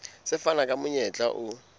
se fana ka monyetla o